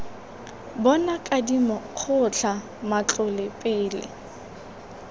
bona kadimo kgotla matlole pele